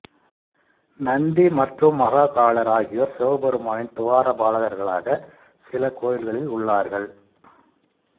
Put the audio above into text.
நந்தி மற்றும் மகாகாளர் ஆகியோர் சிவபெருமானின் துவாரபாலகர்களாக சில கோயில்களில் உள்ளார்கள்